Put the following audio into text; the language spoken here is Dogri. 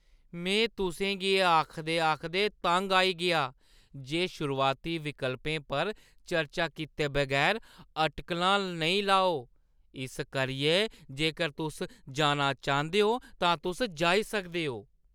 में तुसें गी एह् आखदे-आखदे तंग आई गेआं जे शुरुआती विकल्पें पर चर्चा कीते बगैर अटकलां नेईं लाओ, इस करियै जेकर तुस जाना चांह्‌दे ओ तां तुस जाई सकदे ओ।